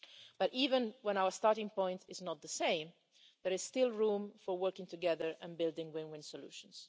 But even when our starting point is not the same, there is still room for working together and building win win solutions.